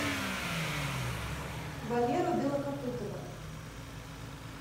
валеру белокопытова